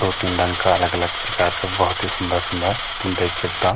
दो तीन रंग का अलग-अलग प्रकार का भौत ही सुन्दर-सुन्दर तुम देख सकदा।